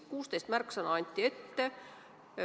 Kuusteist märksõna anti ette.